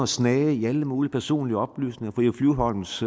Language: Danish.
snage i alle mulige personlige oplysninger fru eva flyvholms